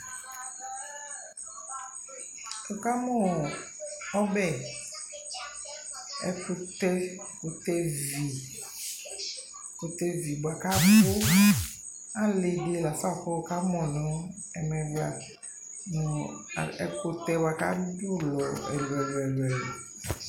Nikamʋ ɔbɛ, ɛkʋtɛ ɛkʋtɛvi ɛkʋtɛvi bua kabʋ Ali di la fa kʋ wʋkamʋ nʋ ɛmɛ bua nʋ ɛkʋtɛ bua kadʋ ɛlʋɛlʋ